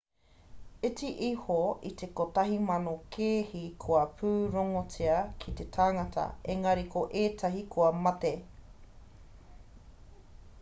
iti iho i te kotahi mano kēhi kua pūrongotia ki te tangata engari ko ētahi kua mate